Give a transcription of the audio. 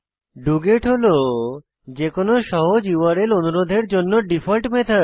doGet হল যে কোনো সহজ ইউআরএল অনুরোধের জন্য ডিফল্ট মেথড